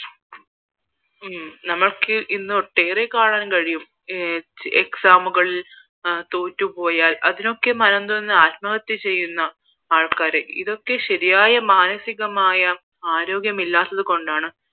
ഉം നമുക്കിന്ന് ഒട്ടേറെ കാണാൻ കഴിയും exam കൾ തൊട്ടുപോയാൽ അതിനൊക്കെ മനംനൊന്ത് ആത്മഹത്യ ചെയ്യുന്ന ആൾക്കാരെ ഇതൊക്കെ ശരിയായ മാനസികമായ ആരോഗ്യം ഇല്ലാത്തത് കൊണ്ടാണ്